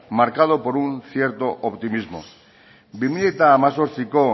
marcado por un cierto optimismo bi mila hemezortziko